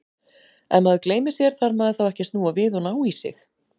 Ef maður gleymir sér, þarf maður þá ekki að snúa við og ná í sig?